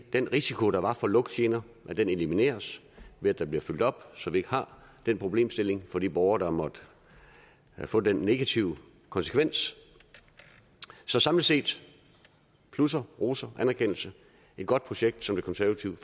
den risiko der var for lugtgener elimineres ved at der bliver fyldt op så vi ikke har den problemstilling for de borgere der måtte få den negative konsekvens så samlet set plusser roser anerkendelse et godt projekt som det konservative